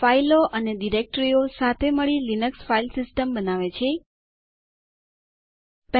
આ ટયુટોરિઅલમાં આપણે નીચેનું શીખીશું